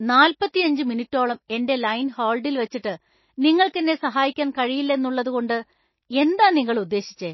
നാൽപ്പത്തിയഞ്ച് മിനിറ്റോളം എന്‍റെ ലൈൻ ഹോൾഡിൽ വച്ചിട്ട് നിങ്ങൾക്കെന്നെ സഹായിക്കാൻ കഴിയില്ലെന്നുള്ളതുകൊണ്ട് എന്താ നിങ്ങൾ ഉദ്ദേശിച്ചെ?